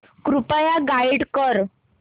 कृपया गाईड कर